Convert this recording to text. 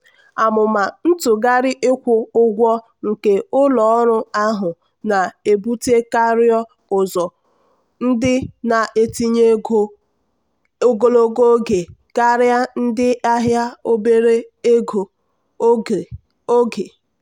amụma ntụgharị ịkwụ ụgwọ nke ụlọ ọrụ ahụ na-ebutekarịọ́ ụzọ ndị na-etinye ego ogologo oge karịa ndị ahịa obere oge.